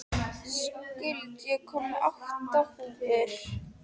Skuld, ég kom með átta húfur!